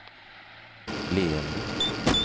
leende